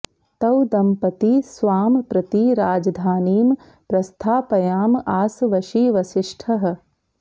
तौ दंपती स्वां प्रति राजधानीं प्रस्थापयां आस वशी वसिष्ठः